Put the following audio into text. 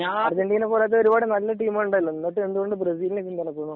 Argentina പോലത്തെ ഒരുപാട് നല്ല ടീമുകളുണ്ടല്ലോ എന്നിട്ടു എന്തുകൊണ്ട് ബ്രസീലിനെ പിന്തുണക്കുന്നു